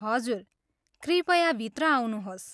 हजुर, कृपया भित्र आउनुहोस्।